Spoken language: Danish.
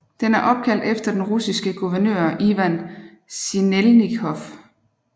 Den er opkaldt efter den russiske guvernør Ivan Sinelnikov